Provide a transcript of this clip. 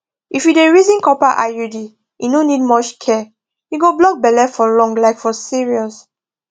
if you dey reason copper iud e no need much care e go block belle for long like for serious